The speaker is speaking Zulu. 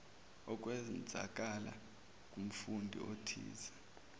okwenzakala kumfundi othize